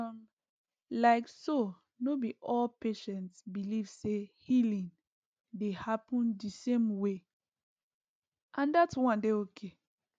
um like so no be all patients believe say healing dey happen the same way and dat one dey okay